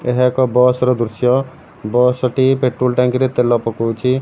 ଏହା ଏକ ବସ ର ଦୃଶ୍ୟ ବାସ ଟି ପେଟ୍ରୋଲ ଟାଙ୍କିରେ ତେଲ ପକଉଚି।